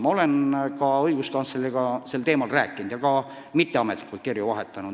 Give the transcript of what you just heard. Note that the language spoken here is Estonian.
Ma olen õiguskantsleriga sel teemal rääkinud ja ka mitteametlikult kirju vahetanud.